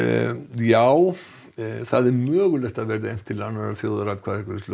það er mögulegt að efnt verði til þjóðaratkvæðagreiðslu